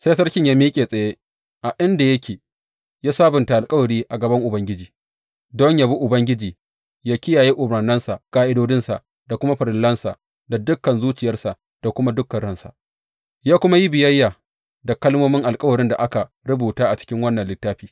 Sai sarkin ya miƙe tsaye a inda yake, ya sabunta alkawari a gaban Ubangiji, don yă bi Ubangiji yă kiyaye umarnansa, ƙa’idodinsa da kuma farillansa da dukan zuciyarsa da kuma dukan ransa, ya kuma yi biyayya da kalmomin alkawarin da aka rubuta a cikin wannan littafi.